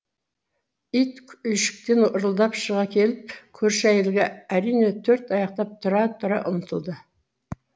ит үйшіктен ырылдап шыға келіп көрші әйелге әрине төрт аяқтап тұра тұра ұмтылды